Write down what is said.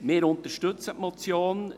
Wir unterstützen diese Motion.